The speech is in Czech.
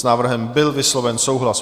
S návrhem byl vysloven souhlas.